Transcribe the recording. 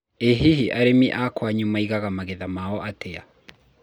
ĩ hihi arĩmĩ a kwanyu maĩgaga magetha mao atĩa